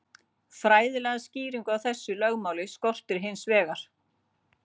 Fræðilega skýringu á þessu lögmáli skorti hins vegar.